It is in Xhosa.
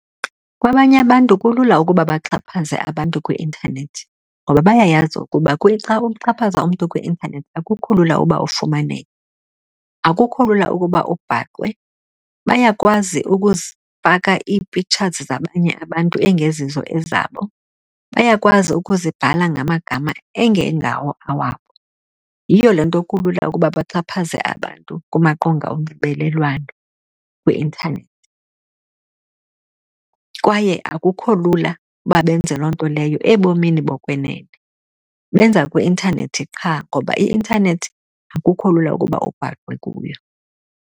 Kwabanye abantu kulula ukuba baxhaphaze abantu kwi-intanethi ngoba bayayazi ukuba xa uxhaphaza umntu kwi-intanethi akukho lula uba ufumaneke, akukho lula ukuba ubhaqwe. Bayakwazi ukuzifaka ii-pictures zabanye abantu engezizo ezabo, bayakwazi ukuzibhala ngamagama engengawo awabo, yiyo le nto kulula ukuba baxhaphaze abantu kumaqonga onxibelelwano kwi-intanethi. Kwaye akukho lula uba benze loo nto leyo ebomini bokwenene, benza kwi-intanethi qha ngoba i-intanethi akukho lula ukuba ubhaqwe kuyo.